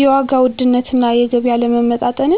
የዋጋ ውድነትና የገቢ አለመመጣጠን